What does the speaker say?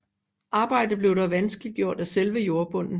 Arbejdet blev dog vanskeliggjort af selve jordbunden